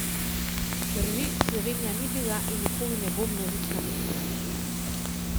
Drži, Slovenija ni bila in nikoli ne bo množična destinacija.